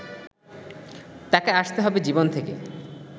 তাকে আসতে হবে জীবন থেকে